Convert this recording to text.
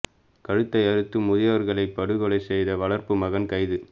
கழுத்தை அறுத்து முதியவர்களை படுகொலை செய்த வளர்ப்பு மகன் கைது